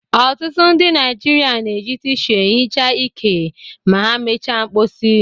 Ọtụtụ ndị Naịjirịa na-eji tịshu ehicha ike ma ha mechaa mkposi.